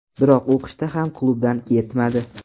Biroq u qishda ham klubdan ketmadi.